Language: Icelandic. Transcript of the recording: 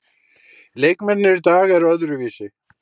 Leikmennirnir í dag eru öðruvísi.